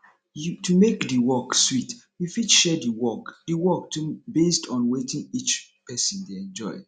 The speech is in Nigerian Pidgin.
to make di work sweet you fit share di work di work based on wetin each person dey enjoy